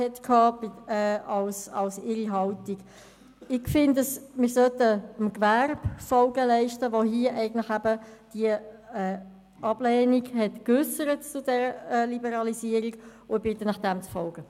Ich finde, dass man auf die Wünsche des Gewerbes eingehen sollte, das sich zur Liberalisierung ablehnend geäussert hat, und bitte Sie dem zu folgen.